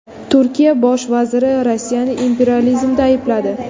Turkiya bosh vaziri Rossiyani imperializmda aybladi.